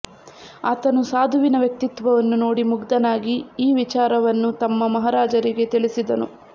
ಆತನು ಸಾಧುವಿನ ವ್ಯಕ್ತಿತ್ವವನ್ನು ನೋಡಿ ಮುಗ್ಧನಾಗಿ ಈ ವಿಚಾರವನ್ನು ತಮ್ಮ ಮಹಾರಾಜರಿಗೆ ತಿಳಿಸಿದನು